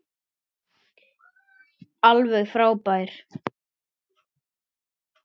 Alveg frábær.